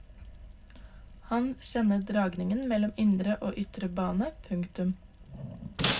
Og han kjenner dragningen mellom indre og ytre bane. punktum